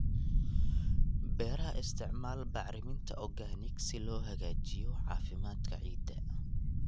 Beeraha Isticmaal bacriminta organic si loo hagaajiyo caafimaadka ciidda.